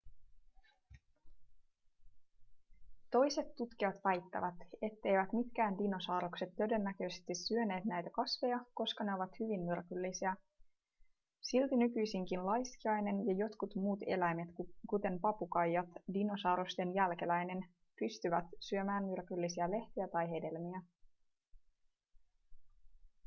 toiset tutkijat väittävät etteivät mitkään dinosaurukset todennäköisesti syöneet näitä kasveja koska ne ovat hyvin myrkyllisiä. silti nykyisinkin laiskiainen ja jotkin muut eläimet kuten papukaija dinosaurusten jälkeläinen pystyvät syömään myrkyllisiä lehtiä tai hedelmiä